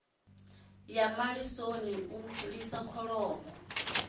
ya malisoni u lisa kholomo